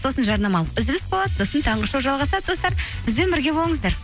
сосын жарнамалық үзіліс болады сосын таңғы шоу жалғасады достар бізбен бірге болыңыздар